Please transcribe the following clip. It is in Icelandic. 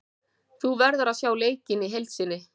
Þú verður að sjá leikinn í heild sinni.